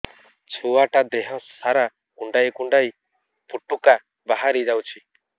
ଛୁଆ ଟା ଦେହ ସାରା କୁଣ୍ଡାଇ କୁଣ୍ଡାଇ ପୁଟୁକା ବାହାରି ଯାଉଛି